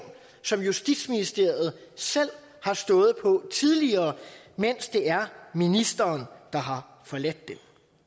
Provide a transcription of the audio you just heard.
som justitsministeriet selv har stået på tidligere mens det er ministeren der har forladt den